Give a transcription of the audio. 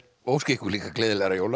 og óska ykkur líka gleðilegra jóla